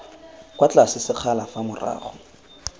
kwa tlase sekgala fa morago